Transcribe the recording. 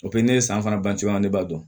ne ye san fana ban cogoya min na ne b'a dɔn